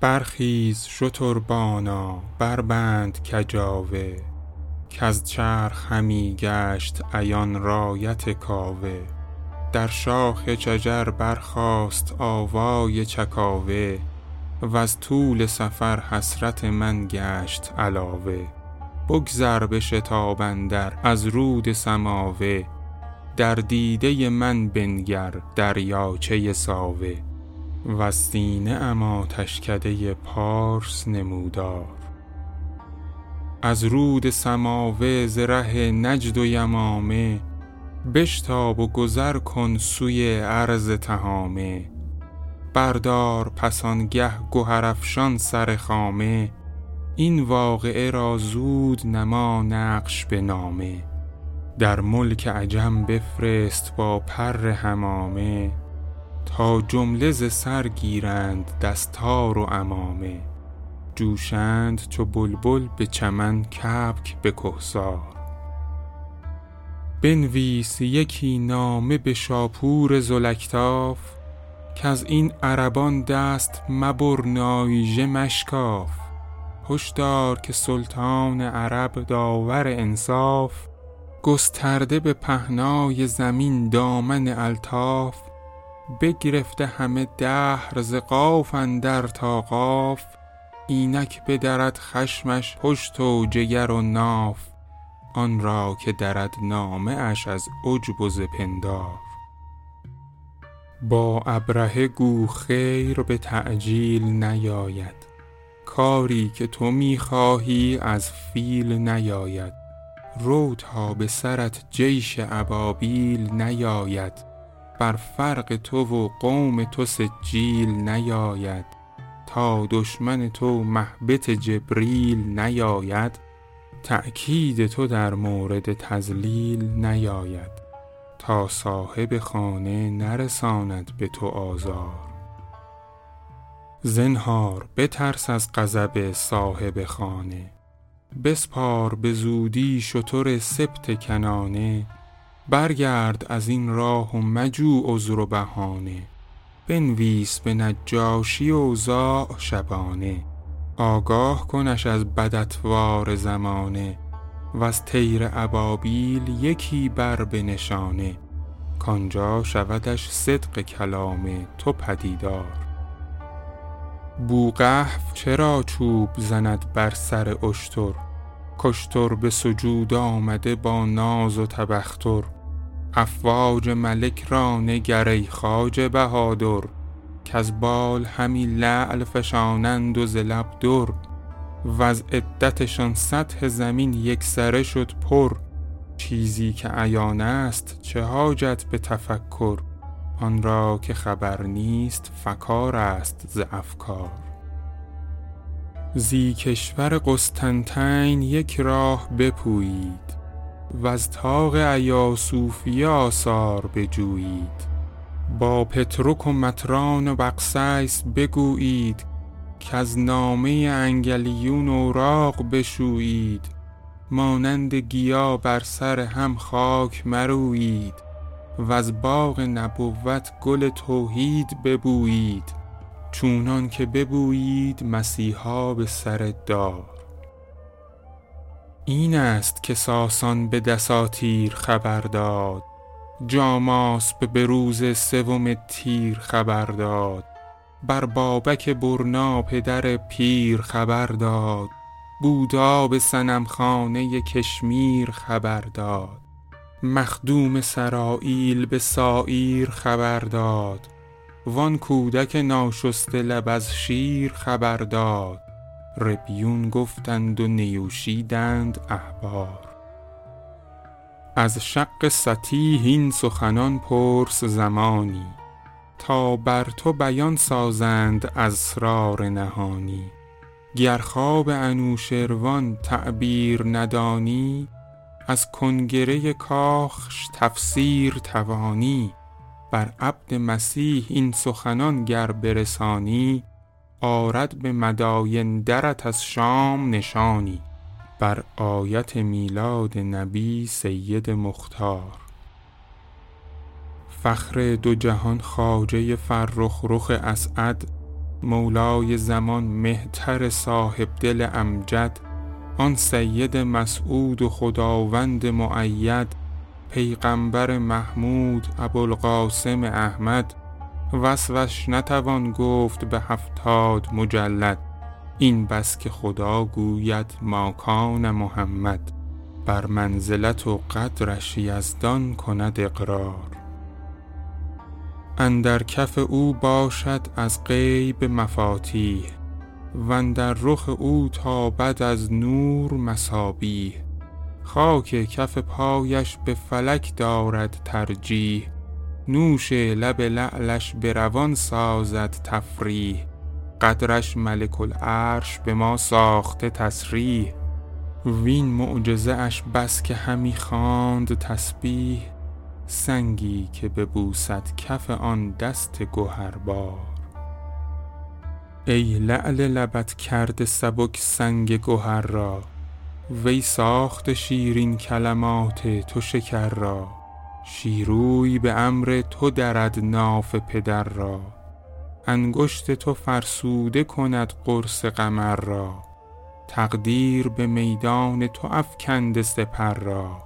برخیز شتربانا بربند کجاوه کز چرخ همی گشت عیان رایت کاوه در شاخ شجر برخاست آوای چکاوه وز طول سفر حسرت من گشت علاوه بگذر به شتاب اندر از رود سماوه در دیده من بنگر دریاچه ساوه وز سینه ام آتشکده پارس نمودار از رود سماوه ز ره نجد و یمامه بشتاب و گذر کن سوی ارض تهامه بردار پس آن گه گهرافشان سر خامه این واقعه را زود نما نقش به نامه در ملک عجم بفرست با پر حمامه تا جمله ز سر گیرند دستار و عمامه جوشند چو بلبل به چمن کبک به کهسار بنویس یکی نامه به شاپور ذوالاکتاف کز این عربان دست مبر نایژه مشکاف هشدار که سلطان عرب داور انصاف گسترده به پهنای زمین دامن الطاف بگرفته همه دهر ز قاف اندر تا قاف اینک بدرد خشمش پشت و جگر و ناف آن را که درد نامه اش از عجب و ز پندار با ابرهه گو خیر به تعجیل نیاید کاری که تو می خواهی از فیل نیاید رو تا به سرت جیش ابابیل نیاید بر فرق تو و قوم تو سجیل نیاید تا دشمن تو مهبط جبریل نیاید تا کید تو در مورد تضلیل نیاید تا صاحب خانه نرساند به تو آزار زنهار بترس از غضب صاحب خانه بسپار به زودی شتر سبط کنانه برگرد از این راه و مجو عذر و بهانه بنویس به نجاشی اوضاع شبانه آگاه کنش از بد اطوار زمانه وز طیر ابابیل یکی بر به نشانه کآنجا شودش صدق کلام تو پدیدار بوقحف چرا چوب زند بر سر اشتر کاشتر به سجود آمده با ناز و تبختر افواج ملک را نگر ای خواجه بهادر کز بال همی لعل فشانند و ز لب در وز عدتشان سطح زمین یکسره شد پر چیزی که عیان است چه حاجت به تفکر آن را که خبر نیست فکار است ز افکار زی کشور قسطنطین یک راه بپویید وز طاق ایاصوفیه آثار بجویید با پطرک و مطران و بقسیس بگویید کز نامه انگلیون اوراق بشویید مانند گیا بر سر هم خاک مرویید وز باغ نبوت گل توحید ببویید چونان که ببویید مسیحا به سر دار این است که ساسان به دساتیر خبر داد جاماسب به روز سوم تیر خبر داد بر بابک برنا پدر پیر خبر داد بودا به صنم خانه کشمیر خبر داد مخدوم سراییل به ساعیر خبر داد وآن کودک ناشسته لب از شیر خبر داد ربیون گفتند و نیوشیدند احبار از شق سطیح این سخنان پرس زمانی تا بر تو بیان سازند اسرار نهانی گر خواب انوشروان تعبیر ندانی از کنگره کاخش تفسیر توانی بر عبد مسیح این سخنان گر برسانی آرد به مداین درت از شام نشانی بر آیت میلاد نبی سید مختار فخر دو جهان خواجه فرخ رخ اسعد مولای زمان مهتر صاحبدل امجد آن سید مسعود و خداوند مؤید پیغمبر محمود ابوالقاسم احمد وصفش نتوان گفت به هفتاد مجلد این بس که خدا گوید ماکان محمد بر منزلت و قدرش یزدان کند اقرار اندر کف او باشد از غیب مفاتیح و اندر رخ او تابد از نور مصابیح خاک کف پایش به فلک دارد ترجیح نوش لب لعلش به روان سازد تفریح قدرش ملک العرش به ما ساخته تصریح وین معجزه اش بس که همی خواند تسبیح سنگی که ببوسد کف آن دست گهربار ای لعل لبت کرده سبک سنگ گهر را وی ساخته شیرین کلمات تو شکر را شیروی به امر تو درد ناف پدر را انگشت تو فرسوده کند قرص قمر را تقدیر به میدان تو افکنده سپر را